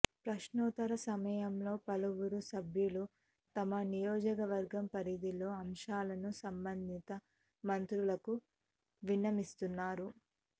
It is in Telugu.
ప్రశ్నోత్తరాల సమయంలో పలువురు సభ్యులు తమ నియోజకవర్గ పరిధిలోని అంశాలను సంబంధిత మంత్రులకు విన్నవిస్తున్నారు